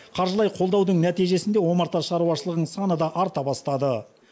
қаржылай қолдаудың нәтижесінде омарта шаруашылығының саны да арта бастады